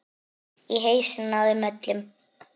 Í hausana á þeim öllum.